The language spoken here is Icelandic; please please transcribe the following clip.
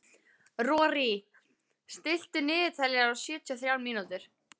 Rorí, stilltu niðurteljara á sjötíu og þrjár mínútur.